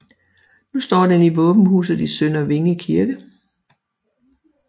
Nu står den i våbenhuset i Sønder Vinge Kirke